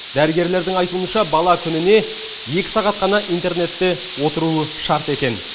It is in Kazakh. дәрігерлердің айтуынша бала күніне екі сағат қана интернетте отыруы шарт екен